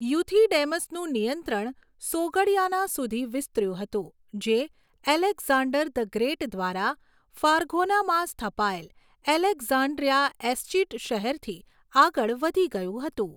યુથિડેમસનું નિયંત્રણ સોગડિયાના સુધી વિસ્તર્યું હતું, જે એલેક્ઝાન્ડર ધ ગ્રેટ દ્વારા ફારઘોનામાં સ્થપાયેલ એલેક્ઝાન્ડ્રિયા એસ્ચીટ શહેરથી આગળ વધી ગયું હતું.